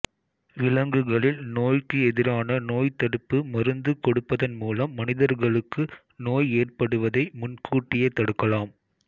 விலங்குகளில் நோய்க்கு எதிரான நோய்த்தடுப்பு மருந்து கொடுப்பதன் மூலம் மனிதர்களுக்கு நோய் ஏற்படுவதை முன் கூட்டியே தடுக்கலாம்